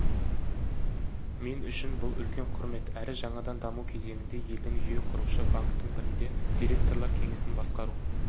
мен үшін бұл үлкен құрмет әрі жаңадан даму кезеңінде елдің жүйеқұрушы банктің бірінде директорлар кеңесін басқару